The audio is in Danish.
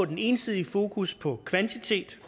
den ensidige fokus på kvantitet